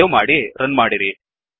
save ಮಾಡಿ run ಮಾಡಿರಿ